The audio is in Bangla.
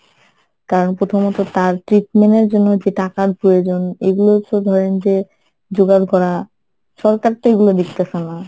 কারণ প্রথমত তার treatment এর জন্য যে টাকার প্রয়োজন এগুলোতো ধরেন যে জোগাড় করা সরকারতো এইগুলা দেখতেছে না